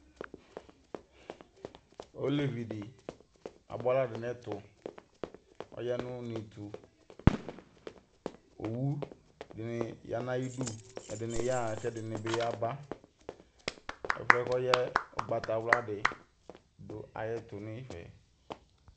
Olevi de aboa ala do nɛtoƆya no unetoOwu de ne ya na yidu, ɛdene yaha kɛ ɛdene be yaba Ɛfuɛ ko yaɛ ugbatawla de do ayito nifɛ!